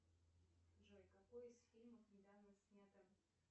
джой какой из фильмов недавно снято